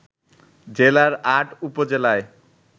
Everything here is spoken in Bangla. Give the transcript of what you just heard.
জেলার ৮ উপজেলায়